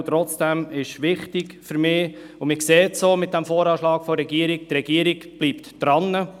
Und trotzdem ist es mir wichtig, und man sieht das auch im VA der Regierung – sie bleibt dran.